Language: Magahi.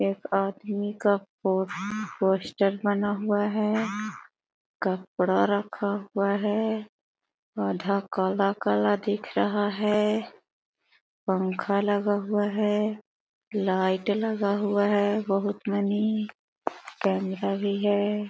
एक आदमी का पो पोस्टर बना हुआ है कपड़ा रखा हुआ है आधा काला-काला दिख रहा है पंखा लगा हुआ है लाईट लगा हुआ है बहुत मनी कैमरा भी है।